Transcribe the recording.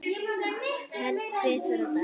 Helst tvisvar á dag.